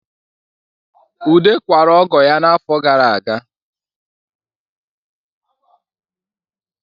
Ude kwara ọgọ ya n'afọ gara aga